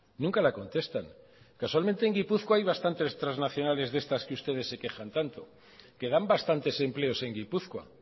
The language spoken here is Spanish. nunca la contestan causalmente en gipuzkoa hay bastante transnacionales de estas que ustedes se quejan tanto que dan bastantes empleos en gipuzkoa